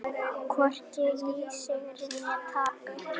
Hvorki í sigri né tapi.